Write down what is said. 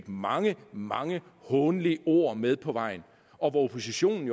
mange mange hånlige ord med på vejen og oppositionen